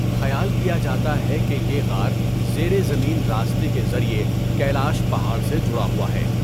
خیال کیا جاتا ہے کہ یہ غار زیر زمین راستے کے ذریعے کیلاش پہاڑ سے جڑا ہوا ہے۔